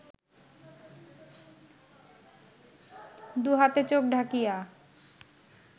দুহাতে চোখ ঢাকিয়া